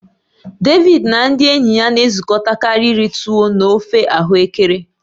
David na ndị enyi ya na-ezukọtakarị iri tuwo na ofe ahuekere.